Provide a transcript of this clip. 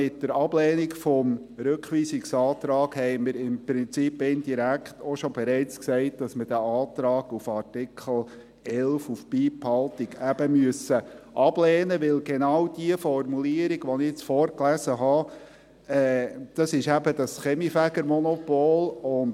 Mit der Ablehnung des Rückweisungsantrags haben wir im Prinzip indirekt auch bereits gesagt, dass wir den Antrag auf Beibehaltung des Artikels 11 eben ablehnen müssen, weil genau diese Formulierung, welche ich vorgelesen habe, das Kaminfegermonopol betrifft.